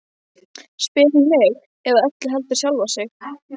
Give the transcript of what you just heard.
spyr hún mig, eða öllu heldur sjálfa sig.